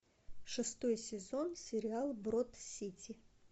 шестой сезон сериала брод сити